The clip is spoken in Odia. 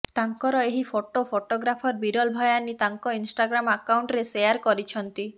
ତାଙ୍କର ଏହି ଫଟୋ ଫଟୋଗ୍ରାଫର ବିରଲ ଭାୟାନୀ ତାଙ୍କ ଇନଷ୍ଟାଗ୍ରାମ ଆକାଉଣ୍ଟରେ ସେୟାର କରିଛନ୍ତି